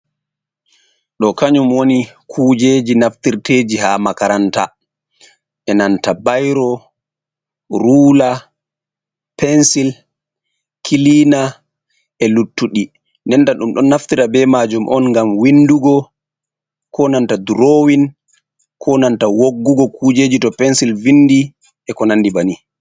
Ɗo kanyum woni kujeji naftirteji ha makaranta e'nanta bayro, ruula, pensil, kilina, e'luttuɗi. Ndenta ɗum ɗon naftira be majum on ngam windugo, ko nanta drowin, ko nanta woggugo kujeji to pensil vindi e'ko nandi banin.